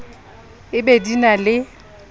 e be di na le